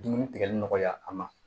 Dumuni tigɛli nɔgɔya a ma